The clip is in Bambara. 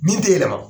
Min tɛ yɛlɛma